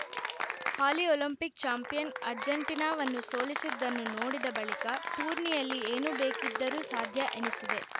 ಹಾಲಿ Olympic champion ಅರ್ಜೆಂಟೀನಾವನ್ನು ಸೋಲಿಸಿದ್ದನ್ನು ನೋಡಿದ ಬಳಿಕ ಟೂರ್ನಿಯಲ್ಲಿ ಏನು ಬೇಕಿದ್ದರೂ ಸಾಧ್ಯ ಎನಿಸಿದೆ